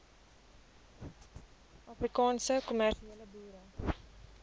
afrikaanse kommersiële boere